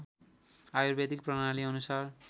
आयुर्वेदिक प्रणाली अनुसार